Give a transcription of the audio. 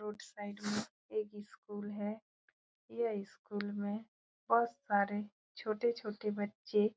road side में एक school है ये स्कूल में बहुत सारे छोटे-छोटे बच्चे